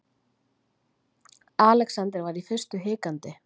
Alexander var í fyrstu hikandi.